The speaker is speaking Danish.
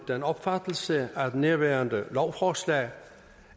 den opfattelse at nærværende lovforslag